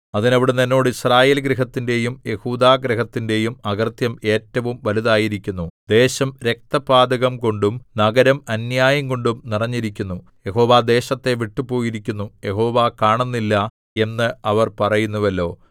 അതിന് അവിടുന്ന് എന്നോട് യിസ്രായേൽഗൃഹത്തിന്റെയും യെഹൂദാഗൃഹത്തിന്റെയും അകൃത്യം ഏറ്റവും വലുതായിരിക്കുന്നു ദേശം രക്തപാതകംകൊണ്ടും നഗരം അന്യായംകൊണ്ടും നിറഞ്ഞിരിക്കുന്നു യഹോവ ദേശത്തെ വിട്ടു പോയിരിക്കുന്നു യഹോവ കാണുന്നില്ല എന്ന് അവർ പറയുന്നുവല്ലോ